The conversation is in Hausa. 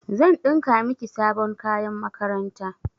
Zan ɗinka miki sabon kayan makaranta.